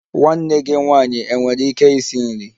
Nwanne gị nwanyị enwere ike isi nri?